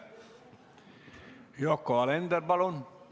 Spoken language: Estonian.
Yoko Alender, palun!